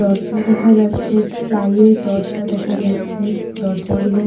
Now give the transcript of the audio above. দরজা দেখা যাচ্ছে প্লাইয়ের দরজা দেখা যাচ্ছে দরজা গুলো--